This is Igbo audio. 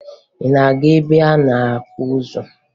Ị na-aga ebe a na-akwa ozu?